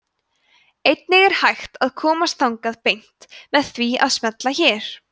einnig er hægt að komast þangað beint með því að smella hér